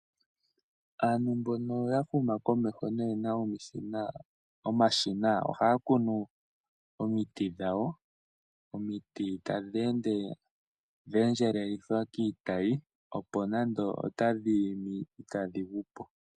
Aantu mbono ya huma komeho noye na omashina ohaya kunu omiti dhawo, omiti tadhi ende dha endjelelithwa kiitayi opo nando otadhi imi itadhi gu po.